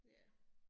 Ja